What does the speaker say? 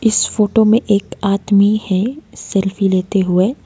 इस फोटो में एक आदमी है सेल्फी लेते हुए।